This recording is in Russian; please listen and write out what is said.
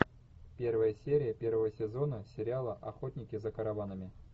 первая серия первого сезона сериала охотники за караванами